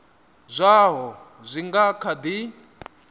zwaho zwi nga kha di